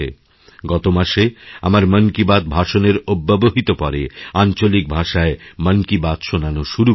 গত মাসে আমারমন কি বাত ভাষণের অব্যবহিত পরে আঞ্চলিক ভাষায় মন কি বাত শোনানো শুরু করেছে